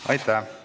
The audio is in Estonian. Aitäh!